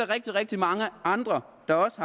rigtig rigtig mange andre der også